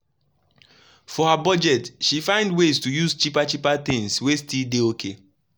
for her budget she find ways to use cheaper cheaper things wey still dey okay.